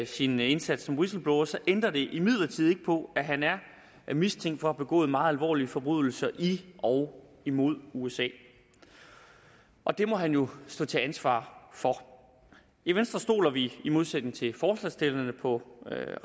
sin indsats som whistleblower ændrer imidlertid ikke på at han er mistænkt for at have begået meget alvorlige forbrydelser i og imod usa og det må han jo stå til ansvar for i venstre stoler vi i modsætning til forslagsstillerne på